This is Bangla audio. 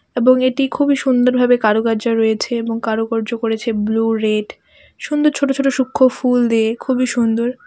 এবং এটি খুবই সুন্দর ভাবে কারুকার্য রয়েছে এবং কারুকার্য করেছে ব্লু রেড সুন্দর ছোটো ছোটো সূক্ষ্ম ফুল দিয়ে খুবই সুন্দর.